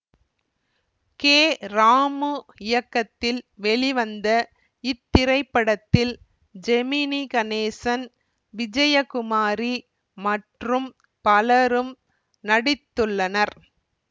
K Ramu இயக்கத்தில் வெளிவந்த இத்திரைப்படத்தில் ஜெமினி கணேசன் விஜயகுமாரி மற்றும் பலரும் நடித்துள்ளனர்